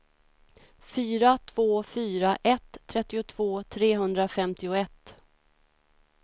fyra två fyra ett trettiotvå trehundrafemtioett